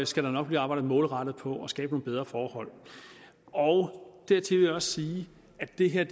skal der nok blive arbejdet målrettet på at skabe nogle bedre forhold dertil vil jeg også sige at det her